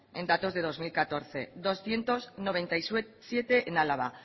en datos de dos mil catorce doscientos noventa y siete en álava